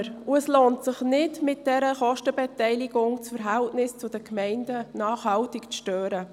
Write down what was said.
Es lohnt sich nicht, aufgrund dieser Kostenbeteiligung das Verhältnis zu den Gemeinden nachhaltig zu stören.